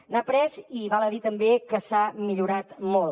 n’ha après i val a dir també que s’ha millorat molt